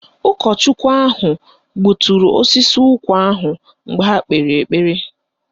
Ụkọchukwu ahụ gbuturu osisi ụkwa ahụ mgbe ha kpere ekpere